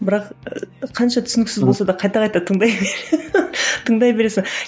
бірақ қанша түсініксіз болса да қайта қайта тыңдай тыңдай бересің